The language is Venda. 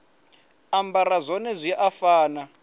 ambara zwone zwi a fana